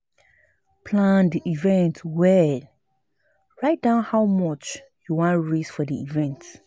Plan di event well write down how much you won raise for di event